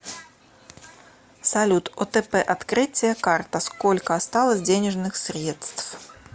салют отп открытие карта сколько осталось денежных средств